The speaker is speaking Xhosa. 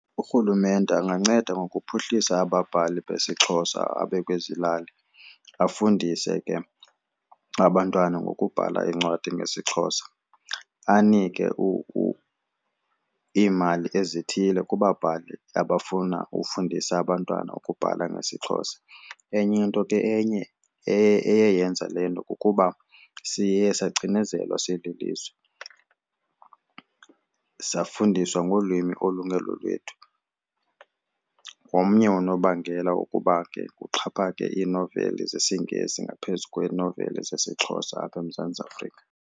URhulumente anganceda ngokuphuhlisa ababhali besiXhosa abakwezi lali afundise ke abantwana ngokubhala incwadi ngesiXhosa, anike iimali ezithile kubabhali abafuna ukufundisa abantwana ukubhala ngesiXhosa. Enye into ke enye eye yenza le nto kukuba siye sacinezelwa sililizwe, safundiswa ngolwimi olungelo lwethu. Ngomnye unobangela wokuba ke kuxhaphake iinoveli zesiNgesi ngaphezu kweenoveli zesiXhosa apha eMzantsi Afrika.